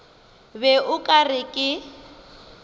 be o ka re ke